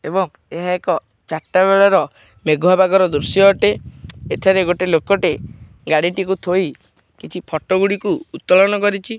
ଏବଂ ଏହା ଏକ ଚାରିଟା ବେଳର ମେଗୁ ପାଗ ର ଦୃଶ୍ୟ ଅଟେ ଏଠାରେ ଲୋକ ଗାଡ଼ି ଟିକୁ ଥୋଇ କିଛି ଫଟୋ ଉତଲନ କରିଛି।